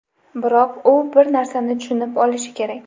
Biroq u bir narsani tushunib olishi kerak.